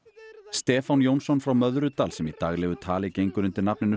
Stefán Jónsson frá Möðrudal sem í daglegu tali gengur undir nafninu